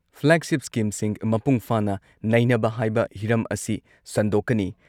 Flagship ꯁ꯭ꯀꯤꯝꯁꯤꯡ ꯃꯄꯨꯡꯐꯥꯅ ꯅꯩꯅꯕ ꯍꯥꯏꯕ ꯍꯤꯔꯝ ꯑꯁꯤ ꯁꯟꯗꯣꯛꯀꯅꯤ ꯫